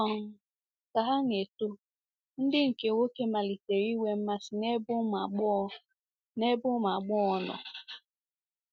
um Ka ha na - eto, ndị nke nwoke malitere inwe mmasị n’ebe ụmụ agbọghọ n’ebe ụmụ agbọghọ nọ.